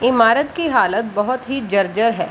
इमारत की हालत बहुत ही जर्जर है।